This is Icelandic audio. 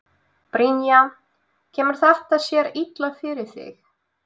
Brynja: Kemur þetta sér illa fyrir þig?